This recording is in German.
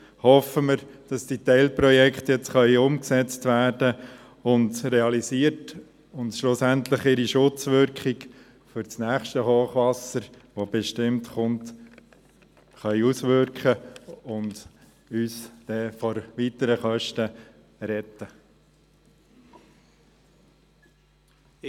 Hoffen wir, dass die Teilprojekte jetzt umgesetzt und realisiert werden können und schlussendlich ihre Schutzwirkung für das nächste Hochwasser, das bestimmt kommt, haben und uns vor weiteren Kosten retten können.